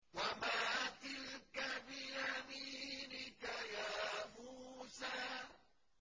وَمَا تِلْكَ بِيَمِينِكَ يَا مُوسَىٰ